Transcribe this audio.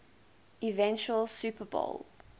eventual super bowl